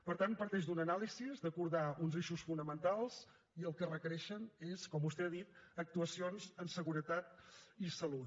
per tant parteix d’una anàlisi d’acordar uns eixos fonamentals i el que requereixen és com vostè ha dit actuacions en seguretat i salut